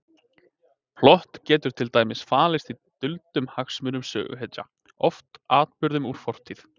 Plott getur til dæmis falist í duldum hagsmunum söguhetja, oft atburðum úr fortíð.